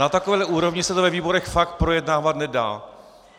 Na takové úrovni se to ve výborech fakt projednávat nedá.